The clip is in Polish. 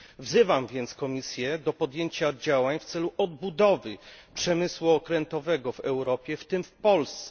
Wzywam więc Komisję do podjęcia działań w celu odbudowy przemysłu okrętowego w Europie, w tym w Polsce.